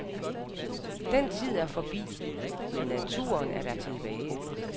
Den tid er forbi, men naturen er da tilbage.